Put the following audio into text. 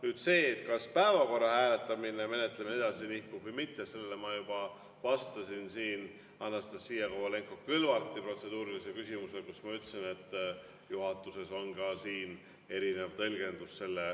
Nüüd, sellele, kas päevakorra hääletamine, menetlemine edasi nihkub või mitte, ma juba vastasin Anastassia Kovalenko-Kõlvarti protseduurilisele küsimusele vastates, kui ma ütlesin, et juhatuses on selle osas erinev tõlgendus.